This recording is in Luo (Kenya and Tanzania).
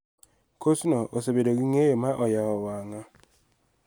Kosno osebedo gi ng�eyo ma oyawo wang�a.